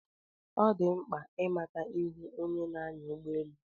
Ọ dị mkpa ị mata ihu onye na-anya ụgbọ elu.